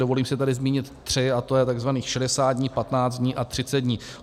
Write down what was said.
Dovolím si tady zmínit tři, a to je tzv. 60 dní, 15 dní a 30 dní.